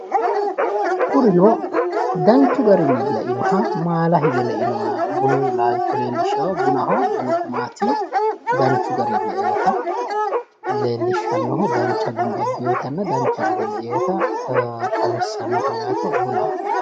kurino danchu garinni leinoha maala hige leinoha bunu laalcho leellishshawo bunaho bunu gumaati danchu garinni le''eeta leellishshanno dancha guma abbewotanna dancha gede le''ewota xawissannoho yaate bunaho.